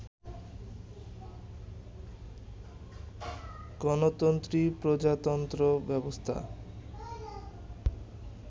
গণতন্ত্রী প্রজাতন্ত্র ব্যবস্থা